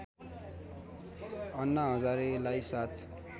अन्ना हजारेलाई साथ